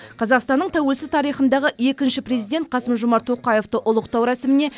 қазақстанның тәуелсіз тарихындағы екінші президент қасым жомарт тоқаевты ұлықтау рәсіміне